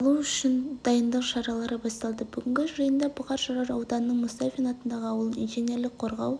алу үшін дайындық шаралары басталды бүгінгі жиында бұқар жырау ауданының мұстафин атындағы ауылын инженерлік қорғау